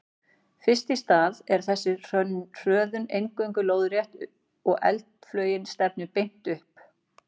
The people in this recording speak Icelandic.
Fyrst í stað er þessi hröðun eingöngu lóðrétt og eldflaugin stefnir beint upp.